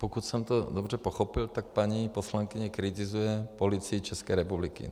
Pokud jsem to dobře pochopil, tak paní poslankyně kritizuje Policii České republiky.